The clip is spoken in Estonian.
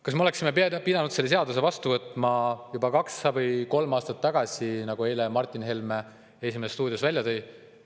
Kas me oleksime pidanud selle seaduse vastu võtma juba kaks või kolm aastat tagasi, nagu Martin Helme eile "Esimeses stuudios" välja tõi?